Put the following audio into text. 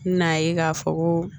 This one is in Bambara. N'a ye k'a fɔ ko